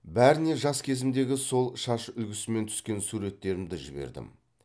бәріне жас кезімдегі сол шаш үлгісімен түскен суреттерімді жібердім